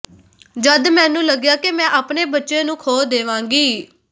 ਜਦ ਮੈਨੂੰ ਲੱਗਿਆ ਕਿ ਮੈਂ ਆਪਣੇ ਬੱਚੇ ਨੂੰ ਖੋ ਦੇਵਾਂਗੀ